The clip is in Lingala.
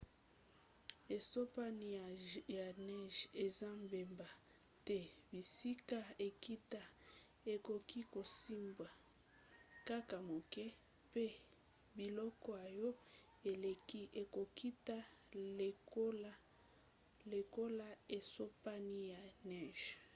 esopani ya neje eza mbeba te; bisika ekita ekoki kosimba kaka moke mpe biloko oyo eleki ekokita lekola esopani ya neje